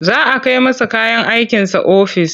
Za a kai masa kayan aikinsa ofis.